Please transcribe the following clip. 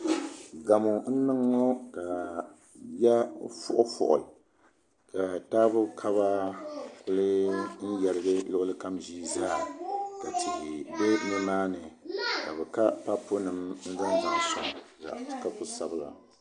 Gamo n niŋ ŋɔ ka yiya fuifui ka taabo kaba ku yɛrigi luɣuli kam ʒii zaa ka tihi bɛ nimaani ka bi ka papu nim n zaŋ soŋ ka ku sabigi